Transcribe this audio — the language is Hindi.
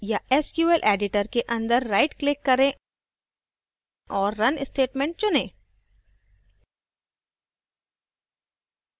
या sql editor के अंदर right click करें और run statement चुनें